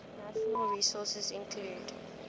natural resources include